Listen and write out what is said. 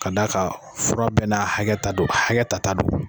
Ka d'a ka fura bɛɛ n'a hakɛta don hakɛ ta ta don